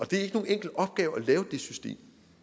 det er ikke nogen enkel opgave at lave det system